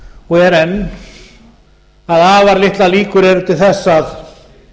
og er enn að afar litlar líkur eru til þess að